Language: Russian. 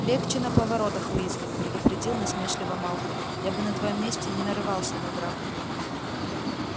легче на поворотах уизли предупредил насмешливо малфой я бы на твоём месте не нарывался на драку